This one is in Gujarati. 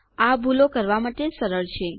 આ ભૂલો કરવા માટે સરળ છે